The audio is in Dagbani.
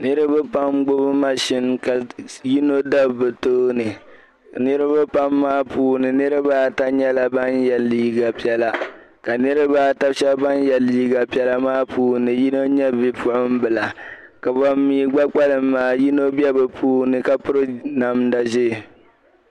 Niriba pam n-gbibi mashin ka yino dabi bɛ tooni ka niriba pam maa puuni niriba ata nyɛla ban ye liiga piɛla ka niriba ata maa shɛba ban ye liiga piɛla maa puuni yino nyɛ bipuɣimbila ka bam mi gba kpalim maa yino be bɛ puuni ka piri namda ʒee.